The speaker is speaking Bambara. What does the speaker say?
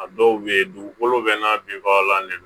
A dɔw bɛ yen dugukolo bɛɛ n'a binbaga de don